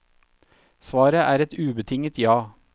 Svaret er et ubetinget ja.